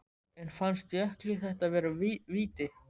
En fannst Jökli þetta vera víti?